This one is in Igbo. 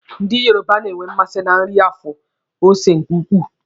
Ndị Yoruba na-enwe mmasị na nri na-afụ ose nke ukwuu.